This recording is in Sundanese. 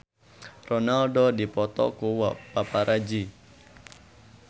Ronaldo dipoto ku paparazi